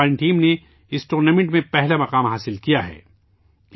بھارت کی ٹیم نے اس ٹورنامنٹ میں پہلا مقام حاصل کیا ہے